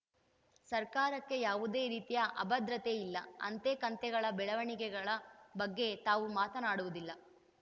ಸರ್ಕಾರಕ್ಕೆ ಯಾವುದೇ ರೀತಿಯ ಅಭಧ್ರತೆಯಿಲ್ಲ ಅಂತೆ ಕಂತೆಗಳ ಬೆಳವಣಿಗೆಳ ಬಗ್ಗೆ ತಾವು ಮಾತನಾಡುವುದಿಲ್ಲ